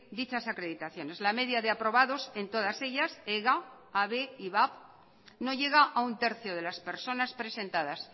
dichas acreditaciones la media de aprobados en todas ellas ga habe ivap no llega a un tercio de las personas presentadas